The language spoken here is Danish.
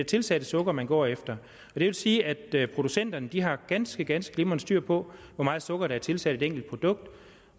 tilsatte sukker man går efter det vil sige at producenterne har ganske ganske glimrende styr på hvor meget sukker der er tilsat det enkelte produkt